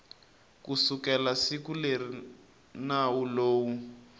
kusukela siku leri nawu lowu